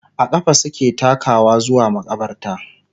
a ƙafa suke takawa zuwa maƙabarta